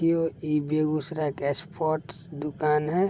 इहो इ बेगुसराय के स्पोर्ट्स दुकान है ।